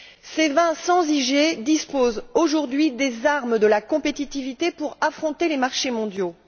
Ces vins sans IG disposent aujourd'hui des armes de la compétitivité pour affronter les marchés mondiaux.